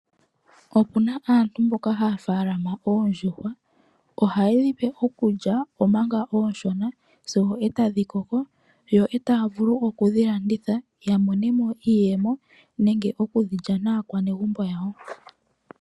Opuna aantu mboka haya faalama oondjuhwa , ohaye dhi pe okulya manga oshoka sigo etadhi koko yo etaya vulu okudhi landitha po ya mone mo iiyemo nenge okudhi lya naakwanegumbo yawo.